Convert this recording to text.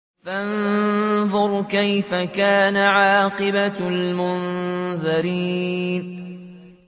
فَانظُرْ كَيْفَ كَانَ عَاقِبَةُ الْمُنذَرِينَ